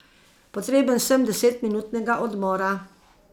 Potreben sem desetminutnega odmora.